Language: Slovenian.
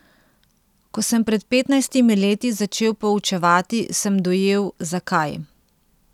Ko sem pred petnajstimi leti začel poučevati, sem dojel, zakaj.